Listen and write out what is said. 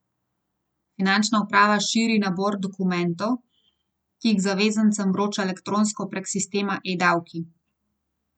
Finančna uprava širi nabor dokumentov, ki jih zavezancem vroča elektronsko prek sistema eDavki.